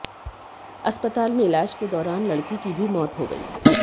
अस्पताल में इलाज के दौरान लड़की की भी मौत हो गई